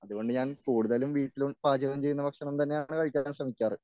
അതുകൊണ്ട് ഞാൻ കൂടുതലും വീട്ടിൽ പാചകം ചെയ്യുന്ന ഭക്ഷണം തന്നെയാണ് കഴിക്കാൻ ശ്രമിക്കാറ്.